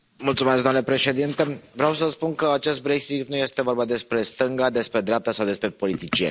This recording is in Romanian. Domnule președinte, vreau să spun că în acest Brexit nu este vorba despre stânga, despre dreapta sau despre politicieni.